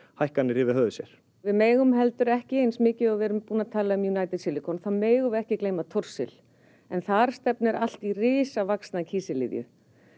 hækkanir yfir höfði sér við megum heldur ekki eins mikið og við erum búin að tala um United Silicon þá megum við ekki gleyma Thorsil en þar stefnir allt í risavaxna kísiliðju